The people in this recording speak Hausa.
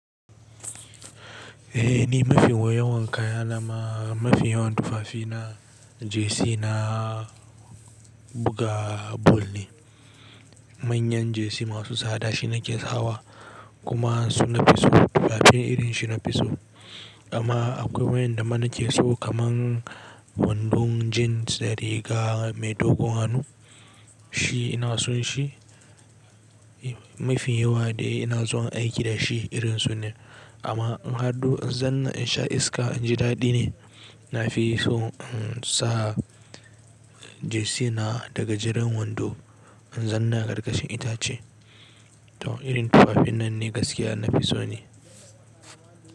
Eh ni mafi yawan kayana ma mafi yawan tufafina jersey na buga ball ne. Manyan jersey masu sada shi nake sawa kuma su nafi so tufafin irin shi nafi so. Amma akwai wayanda ma nake so kaman wandon jeans da riga mai dogun hannun shi ina son shi. Mafi yawa dai ina zuwa aiki da shi irin su ne. Amma in har don in zauna in sha iska inji daɗi ne. Nafi so in sa jersey na da gajeren wando in zauna karkashin itace. To irin tufafin nan ne gaskiya nafiso ne.